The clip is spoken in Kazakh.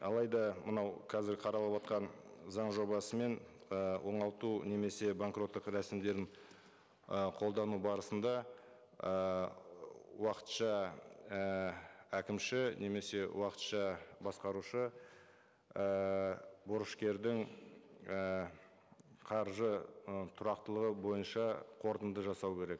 алайда мынау қазір қаралыватқан заң жобасымен і оңалту немесе банкроттық рәсімдерін ы қолдану барысында ыыы уақытша ііі әкімші немесе уақытша басқарушы ііі борышкердің і қаржы ы тұрақтылығы бойынша қорытынды жасау керек